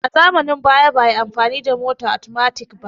A zamanin baya ba'ayi amfani da mota atomatik ba